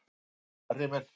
Ég tók það nærri mér.